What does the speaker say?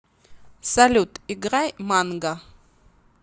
салют играй манга